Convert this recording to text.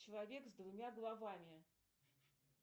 человек с двумя головами